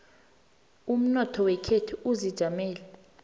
umnotho wekhethu uzijamele